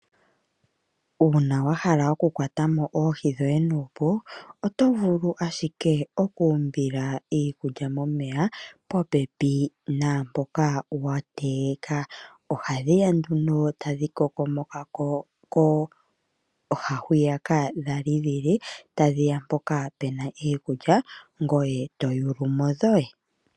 Uuna wahala okukwata mo oohi dhoye nuupu, oto vulu ashike okumbiila iikulya momeya popepi naampoka wategeka. Ohadhi ya nduno tadhi kokomokako handiyaka dhali dhili tadhiya mpoka pena iikulya ngoye to yuulamo dhoye.